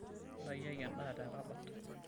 Ntaikiaki endaa tekabat.